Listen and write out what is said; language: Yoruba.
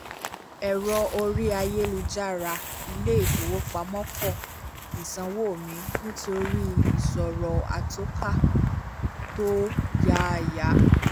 ẹ̀rọ orí ayélujára ilé-ifowopamọ́ kọ́ ìsanwó mi nítorí ìṣòro àtọka tó yáyà